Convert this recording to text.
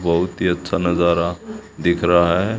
बहुत ही अच्छा नजारा दिख रहा है।